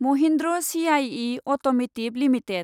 Mahindra CIE automotive limited